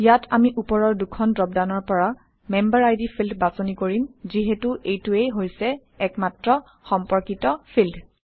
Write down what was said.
ইয়াত আমি ওপৰৰ দুখন ড্ৰপডাউনৰ পৰা মেম্বেৰিড ফিল্ড বাছনি কৰিম যিহেতু এইটোৱেই হৈছে একমাত্ৰ সম্পৰ্কিত ফিল্ড